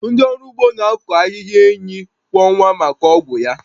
Ndị ọrụ ugbo na-akọ ahịhịa enyi kwọ nwa maka ọgwụ ya